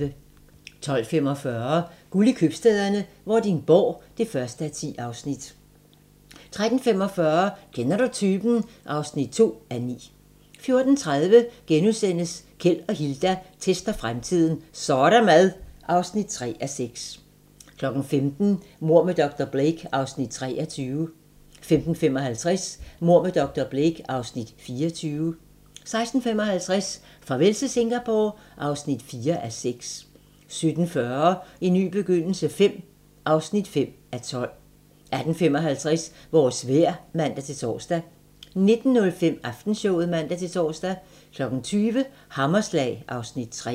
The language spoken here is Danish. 12:45: Guld i købstæderne - Vordingborg (1:10) 13:45: Kender du typen? (2:9) 14:30: Keld og Hilda tester fremtiden - Så' der mad! (3:6)* 15:00: Mord med dr. Blake (Afs. 23) 15:55: Mord med dr. Blake (Afs. 24) 16:55: Farvel til Singapore (4:6) 17:40: En ny begyndelse V (5:12) 18:55: Vores vejr (man-tor) 19:05: Aftenshowet (man-tor) 20:00: Hammerslag (Afs. 3)